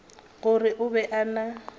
gore o be a na